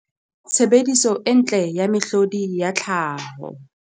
Tshebediso e ntle ya mehlodi ya tlhaho.